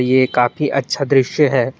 ये काफी अच्छा दृश्य है।